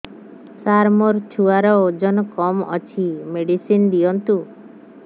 ସାର ଛୁଆର ଓଜନ କମ ଅଛି ମେଡିସିନ ଦିଅନ୍ତୁ